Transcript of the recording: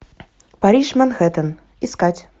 париж манхэттен искать